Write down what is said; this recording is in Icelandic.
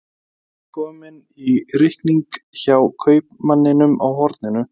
Þau eru komin í reikning hjá kaupmanninum á horninu.